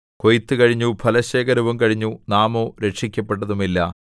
കൊയ്ത്തുകഴിഞ്ഞു ഫലശേഖരവും കഴിഞ്ഞു നാമോ രക്ഷിക്കപ്പെട്ടതുമില്ല